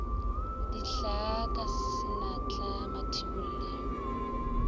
dihlaa ka senatla mathibolle yo